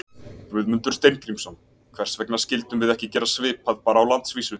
Guðmundur Steingrímsson: Hvers vegna skildum við ekki gera svipað bara á landsvísu?